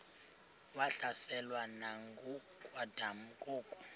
wahlaselwa nanguadam kok